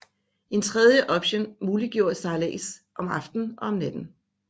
En tredje option muliggjorde sejlads om aftenen og natten